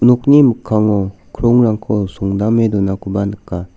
nokni mikkango krongrangko songdame donakoba nika.